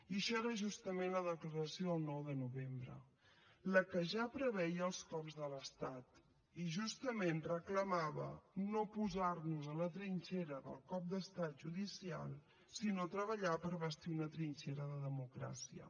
i això era justament la declaració del nou de novembre la que ja preveia els cops de l’estat i justament reclamava no posar nos a la trinxera del cop d’estat judicial sinó treballar per bastir una trinxera de democràcia